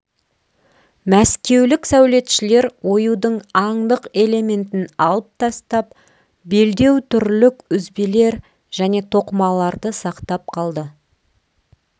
мәскеулік сәулетшілер оюдың аңдық элементін алып тастап белдеутүрлік үзбелер және тоқымаларды сақтап қалды